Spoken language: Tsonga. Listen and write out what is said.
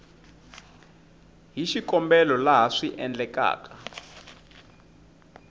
hi xikombelo laha swi endlekaka